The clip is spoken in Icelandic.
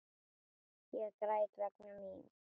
Ég græt vegna mín.